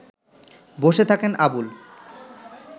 বসে থাকেন আবুল